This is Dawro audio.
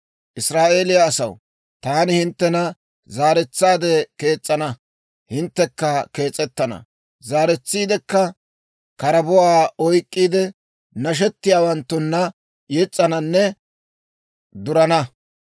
Israa'eeliyaa asaw, taani hinttena zaaretsaade kees's'ana; hinttekka kees'ettana. Zaaretsiidekka karabuwaa oyk'k'iide, nashettiyaawanttunna yes's'ananne durana.